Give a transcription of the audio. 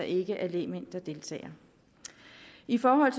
ikke er lægmænd der deltager i forhold